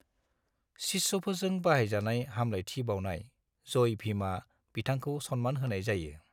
शिष्यफोरजों बाहायजानाय हामलायथि बाउनाय जय भीमआ बिथांखौ सन्मान होनाय जायो।